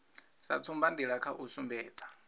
sa tsumbanḓila kha u sumbedza